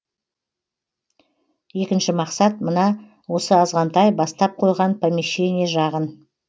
екінші мақсат мына осы азғантай бастап қойған помещание жағын